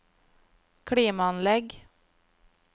klimaanlegg